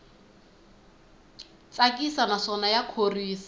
tsakisa naswona ya khorwisa